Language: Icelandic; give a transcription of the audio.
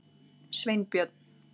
Sveinbjörn